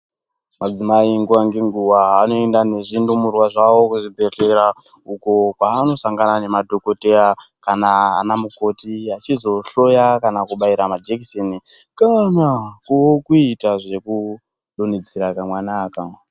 Madzimai nguwa ngenguwa anoenda nezvidumurwa zvawo kuzvibhedhlera uko kwaanosangana nemadhokodheya kana ana mukoti achizohloya kana kubaira majekiseni kana kuitawo zvekudonhedzera kawana aka.